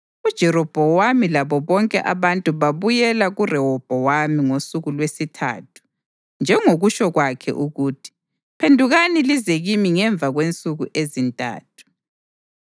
UJerobhowamu labo bonke abantu babuyela kuRehobhowami ngosuku lwesithathu njengokutsho kwakhe ukuthi, “Phendukani lize kimi ngemva kwensuku ezintathu.”